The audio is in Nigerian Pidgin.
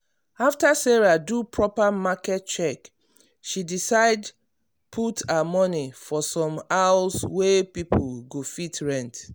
after sarah do proper market check she decide put her money for some house wey people go fit rent.